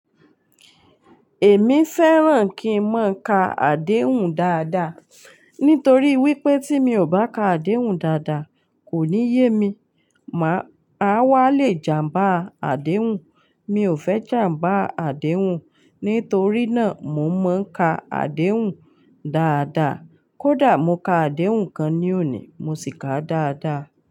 Èmi fẹràn kí n máa ka àdéhùn dáadáa, nítorí wípé tí mi ò bá ka àdéhùn dáadáa, kò ní yé mi. Màá, a wá le jàmbá àdéhùn. Mi ò fẹ́ jàmbá àdéhùn, nítorí náà mo máa ń ka àdéhùn dáadáa. Kódà mo ka àdéhùn kan ní òní, mo sì ká a dáadáa.